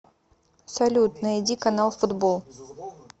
салют найди канал футбол